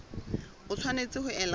o tshwanetse ho ela hloko